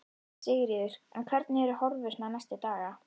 Sigríður: En hvernig eru horfurnar næstu daga?